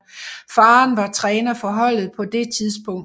Faren var træner for holdet på det tidspunkt